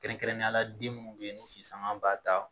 Kɛrɛnkɛrɛnneyala den munnu be yen, n'u si sanga b'a ta